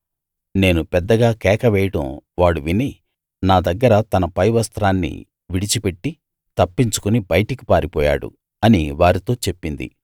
నేను పెద్దగా కేకవేయడం వాడు విని నా దగ్గర తన పై వస్త్రాన్ని విడిచిపెట్టి తప్పించుకుని బయటికి పారిపోయాడు అని వారితో చెప్పింది